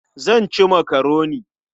Zan ci makaroni.